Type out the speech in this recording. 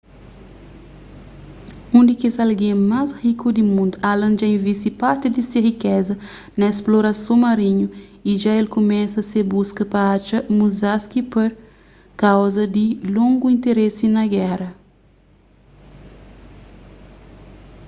un di kes algen más riku di mundu allen dja invisti parti di se rikeza na splorason marinhu y dja el kumesa se buska pa atxa musashi pur kauza di longu interese na géra